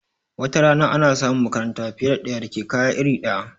Watarana ana samun makaranta fiye da ɗaya da ke kaya iri ɗaya